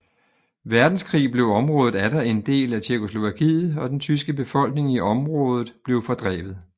Verdenskrig blev området atter en del af Tjekkoslovakiet og den tyske befolkning i området blev fordrevet